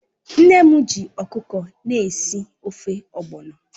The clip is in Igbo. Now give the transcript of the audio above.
Nne m ji ọkụkọ na-esi ofe ogbọnọ